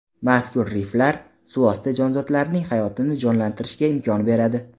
Mazkur riflar suvosti jonzotlarining hayotini jonlantirishga imkon beradi.